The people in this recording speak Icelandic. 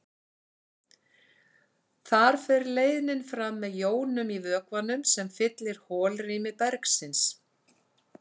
Þar fer leiðnin fram með jónum í vökvanum sem fyllir holrými bergsins.